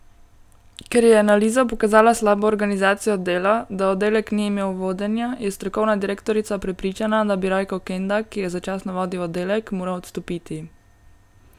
Ker je analiza pokazala slabo organizacijo dela, da oddelek ni imel vodenja, je strokovna direktorica prepričana, da bi Rajko Kenda, ki je začasno vodil oddelek, moral odstopiti.